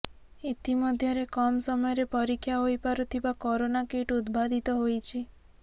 ଇତି ମଧ୍ୟରେ କମ୍ ସମୟରେ ପରୀକ୍ଷା ହୋଇ ପାରୁଥିବା କରୋନା କିଟ୍ ଉଦ୍ଭାଦିତ ହୋଇଛି